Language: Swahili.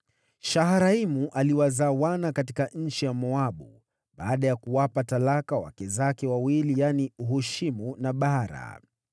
Shaharaimu aliwazaa wana katika nchi ya Moabu baada ya kuwapa talaka wake zake wawili yaani, Hushimu na Baara.